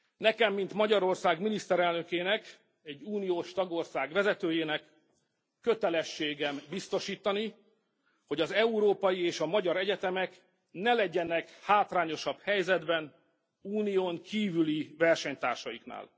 Nekem mint Magyarország miniszterelnökének, egy uniós tagország vezetőjének kötelességem biztosítani, hogy az európai és a magyar egyetemek ne legyenek hátrányosabb helyzetben Unión kívüli versenytársaiknál.